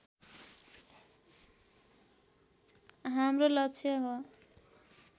हाम्रो लक्ष्य हो